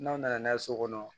N'aw nana n'a ye so kɔnɔ